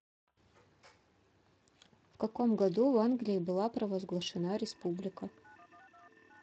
в каком году в англии была провозглашена республика